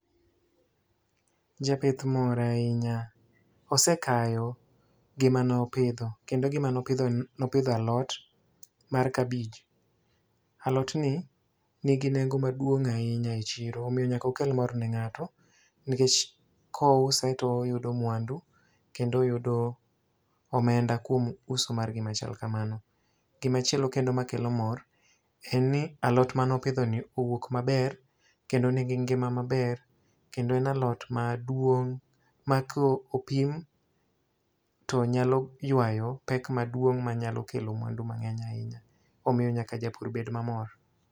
Japith mor ahinya. Osekayo gima ne opidho. Kendo gima ne opidhoni, ne opidho alot, mar kabich. Alot ni nigi nengo maduong' ahinya e chiro, omiyo nyaka okel mor ne ngáto. Nikech ka ouse, to oyudo mwandu. Kendo oyudo omenda kuom uso mar gima chal kamano. Gima chielo kendo makelo mor, en ni alot mane opidho ni owuok maber, kendo nigi ngima maber, kendo en alot maduong' ma ka opim to nyalo ywayo pek maduong' ma nyalo kelo mwandu mangény ahinya. Omiyo nyaka japur bed mamor.